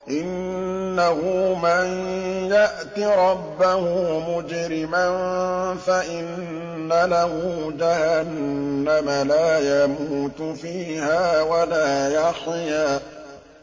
إِنَّهُ مَن يَأْتِ رَبَّهُ مُجْرِمًا فَإِنَّ لَهُ جَهَنَّمَ لَا يَمُوتُ فِيهَا وَلَا يَحْيَىٰ